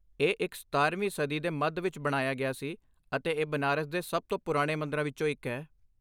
ਇਹ ਇਕ ਸਤਾਰਵੀਂ ਸਦੀ ਦੇ ਮੱਧ ਵਿੱਚ ਬਣਾਇਆ ਗਿਆ ਸੀ, ਅਤੇ ਇਹ ਬਨਾਰਸ ਦੇ ਸਭ ਤੋਂ ਪੁਰਾਣੇ ਮੰਦਰਾਂ ਵਿੱਚੋਂ ਇੱਕ ਹੈ